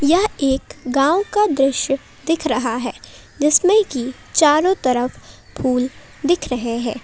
यह एक गांव का दृश्य दिख रहा है जिसमें की चारों तरफ फूल दिख रहे हैं।